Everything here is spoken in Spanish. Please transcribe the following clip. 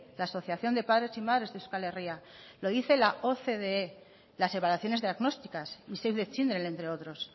la asociación de padres y madres de euskal herria lo dice la ocde las separaciones diagnósticas y save de children entre otros